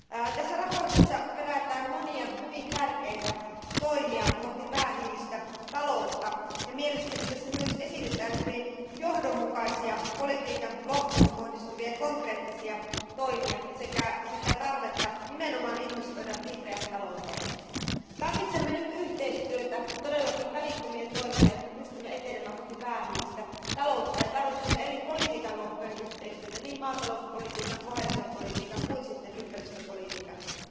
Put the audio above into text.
Tässä mietinnössä perätään monia hyvin tärkeitä toimia kohti vähähiilistä taloutta, ja mielestäni tässä myös esitetään hyvin johdonmukaisia politiikan lohkoihin kohdistuvia ja konkreettisia toimia sekä tarvetta nimenomaan investoida vihreään talouteen. Tarvitsemme nyt yhteistyötä ja todellakin välittömiä toimia, jotta pystymme etenemään kohti vähähiilistä taloutta, ja tarvitsemme eri politiikan lohkojen yhteistyötä niin maatalouspolitiikan, koheesiopolitiikan kuin sitten ympäristöpolitiikankin.